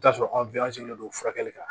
I bi t'a sɔrɔ an don furakɛli kan